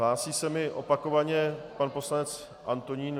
Hlásí se mi opakovaně pan poslanec Antonín.